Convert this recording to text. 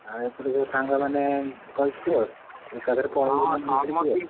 ଆଉ ଏପଟୁ ଯଉ ସାଙ୍ଗ ମାନେ କହିଥିଲ ଏକାଥରେ phone କରିକି ।